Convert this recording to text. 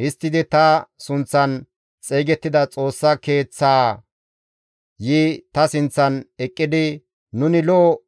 Histtidi ta sunththan xeygettida Xoossa Keeththaa yi ta sinththan eqqidi, ‹Nuni lo7o